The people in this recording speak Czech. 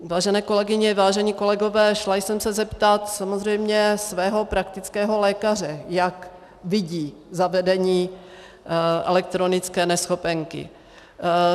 Vážené kolegyně, vážení kolegové, šla jsem se zeptat samozřejmě svého praktického lékaře, jak vidí zavedení elektronické neschopenky.